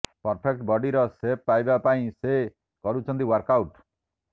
perfect ବଡିର shape ପାଇବା ପାଇଁ ସେ କରୁଛନ୍ତି ୱାର୍କଆଉଟ୍